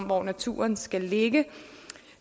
hvor naturen skal ligge